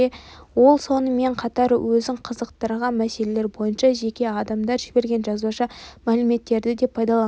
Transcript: ол сонымен қатар өзін қызықтырған мәселелер бойынша жеке адамдар жіберген жазбаша мәліметтерді де пайдаланған